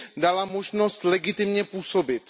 dala možnost legitimně působit.